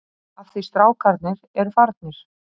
Af því strákarnir eru farnir.